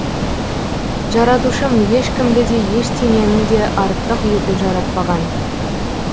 жаратушым ешкімді де ештеңені де артық етіп жаратпаған